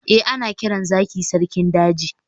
eh, ana kiran zaki sarkin daji